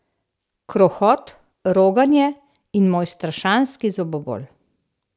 Krohot, roganje in moj strašanski zobobol.